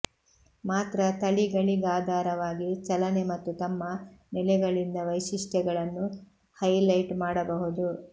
ಮಾತ್ರ ತಳಿಗಳಿಗಾಧಾರವಾಗಿ ಚಲನೆ ಮತ್ತು ತಮ್ಮ ನೆಲೆಗಳಿಂದ ವೈಶಿಷ್ಟ್ಯಗಳನ್ನು ಹೈಲೈಟ್ ಮಾಡಬಹುದು